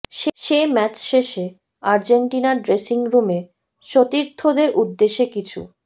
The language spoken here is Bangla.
সে ম্যাচ শেষে আর্জেন্টিনার ড্রেসিং রুমে সতীর্থদের উদ্দেশে কিছু